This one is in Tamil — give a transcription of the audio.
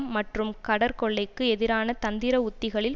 மற்றும் கடற்கொள்ளைக்கு எதிரான தந்திர உத்திகளில்